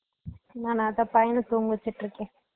நானா இத பையன தூங்க வெச்சுட்டு இருக்க